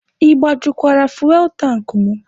Ị gbajukwara fuwel tankị mụ?